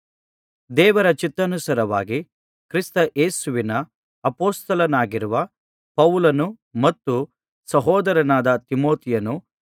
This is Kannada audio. ದೇವರ ಚಿತ್ತಾನುಸಾರವಾಗಿ ಕ್ರಿಸ್ತಯೇಸುವಿನ ಅಪೊಸ್ತಲನಾಗಿರುವ ಪೌಲನೂ ಮತ್ತು ಸಹೋದರನಾದ ತಿಮೊಥೆಯನು